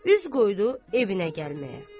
Üz qoydu evinə gəlməyə.